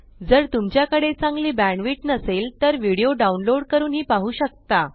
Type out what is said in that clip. जर तुमच्याकडे चांगली बॅण्डविड्थ नसेल तर आपण व्हिडीओ डाउनलोड करूनही पाहू शकता